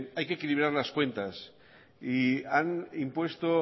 hay que equilibrar las cuentas y han impuesto